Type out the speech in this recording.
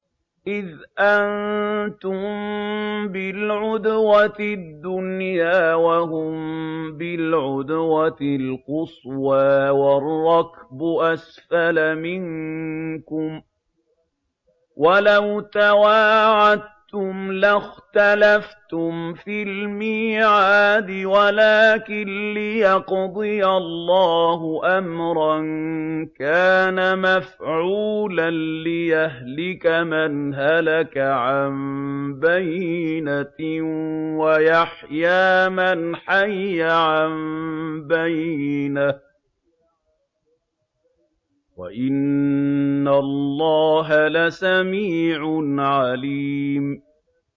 إِذْ أَنتُم بِالْعُدْوَةِ الدُّنْيَا وَهُم بِالْعُدْوَةِ الْقُصْوَىٰ وَالرَّكْبُ أَسْفَلَ مِنكُمْ ۚ وَلَوْ تَوَاعَدتُّمْ لَاخْتَلَفْتُمْ فِي الْمِيعَادِ ۙ وَلَٰكِن لِّيَقْضِيَ اللَّهُ أَمْرًا كَانَ مَفْعُولًا لِّيَهْلِكَ مَنْ هَلَكَ عَن بَيِّنَةٍ وَيَحْيَىٰ مَنْ حَيَّ عَن بَيِّنَةٍ ۗ وَإِنَّ اللَّهَ لَسَمِيعٌ عَلِيمٌ